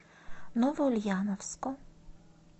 новоульяновску